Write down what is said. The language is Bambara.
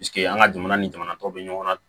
an ka jamana ni jamana tɔw bɛ ɲɔgɔn na